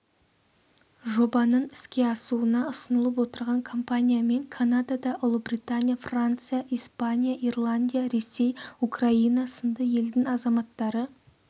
жобаның іске асуына ұсынылып отырған компаниямен канада ұлыбритания франция испания ирландия ресей украина сынды елдің азаматтары